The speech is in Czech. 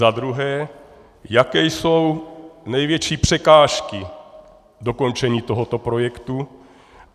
Za druhé, jaké jsou největší překážky dokončení tohoto projektu.